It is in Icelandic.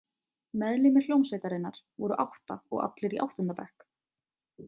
Meðlimir hljómsveitarinnar voru átta og allir í áttunda bekk.